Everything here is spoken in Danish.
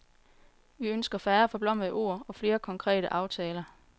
Vi ønsker færre forblommede ord og flere konkrete aftaler.